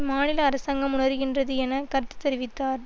மாநில அரசாங்கம் உணருகின்றது என கருத்து தெரிவித்தார்